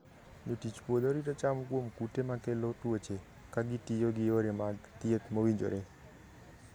Jotich puodho rito cham kuom kute makelo tuoche ka gitiyo gi yore mag thieth mowinjore.